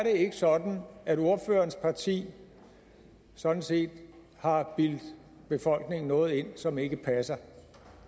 sådan at ordførerens parti sådan set har bildt befolkningen noget ind som ikke passer